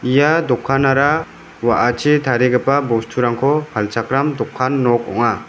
ia dokanara wa·achi tarigipa bosturangko palchakram dokan nok ong·a.